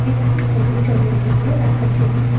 একটি করে জলের বোতলও রাখা ছিল।